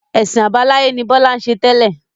Ẹ̀sìn àbáláyé ni Bọlá ń ṣe tẹ́lẹ̀